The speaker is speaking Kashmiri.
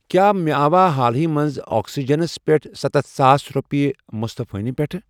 کیٛاہ مےٚ آوا حالٕے منٛز آکسِجنَس پٮ۪ٹھ سَتتھ ساس رۄپیہِ مُصطفیٰ نہِ پٮ۪ٹھٕ؟